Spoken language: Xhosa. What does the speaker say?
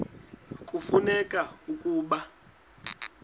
kufuneka ke ukuba